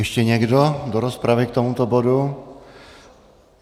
Ještě někdo do rozpravy k tomuto bodu?